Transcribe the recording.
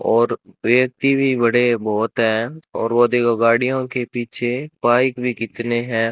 और व्यक्ति भी बड़े बहोत है और वो देखो गाड़ियों के पीछे बाइक भी कितने हैं।